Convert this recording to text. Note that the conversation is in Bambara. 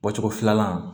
Bɔcogo filanan